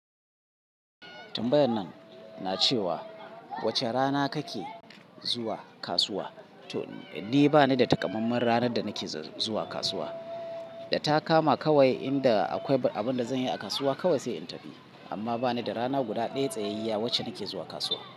Tmbayannan na cewa wace rana kake zuwa kasuwa? To, ni banida takamaiman ranarda nake zuwa kasuwa. Data kama kawai inda akwai abinda zanyi a kasuwa kawai sai in tafi. Amma banida rana guda ɗaya tsayayyiya wacce nake zuwa kasuwa.